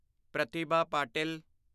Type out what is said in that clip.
Pratibha Patil